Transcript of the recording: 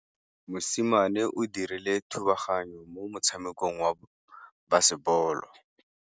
Mosimane o dirile thubaganyô mo motshamekong wa basebôlô.